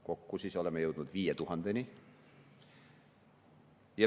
Kokku oleme jõudnud 5000‑ni.